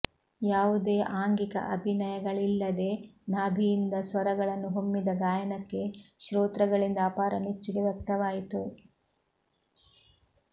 ಯಾವುದೇ ಆಂಗಿಕ ಅಭಿನಯಗಳಿಲ್ಲದೆ ನಾಭಿಯಿಂದ ಸ್ವರಗಳನ್ನು ಹೊಮ್ಮಿದ ಗಾಯನಕ್ಕೆ ಶ್ರೋತೃಗಳಿಂದ ಅಪಾರ ಮೆಚ್ಚುಗೆ ವ್ಯಕ್ತವಾಯಿತು